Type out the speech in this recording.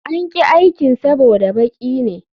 An ƙi aikin saboda baki ne